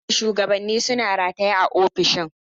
Hotunan shugabanni suna rataye a ofishin.